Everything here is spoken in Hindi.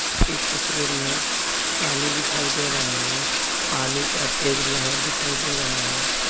इस तस्वीर में पानी दिखाई दे रहा है पानी का तेज लहर दिखाई दे रहा हैं।